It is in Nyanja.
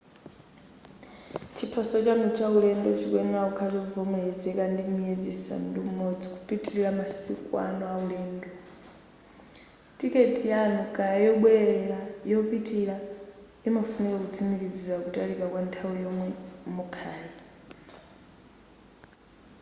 chiphaso chanu cha ulendo chikuyenera kukhala chovomerezeka kwa miyezi isanu ndi umodzi kupitilira masiku anu aulendo. tiketi yanu kaya yobwelera/ yopitilira imafunika kutsikimizira kutalika kwa nthawi yomwe mukhale